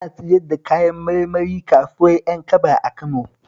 Ana siyar da kayan marmari s kasuwar Ƴankaba a Kano